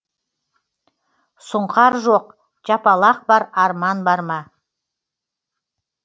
сұңқар жоқ жапалақ бар арман бар ма